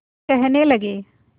कहने लगे